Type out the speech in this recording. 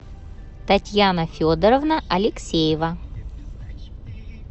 татьяна федоровна алексеева